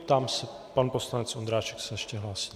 Ptám se - pan poslanec Ondráček se ještě hlásí.